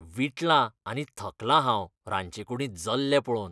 वीटलां आनी थकलां हांव रांदचेकूडींत जल्ले पळोवन.